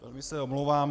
Velmi se omlouvám.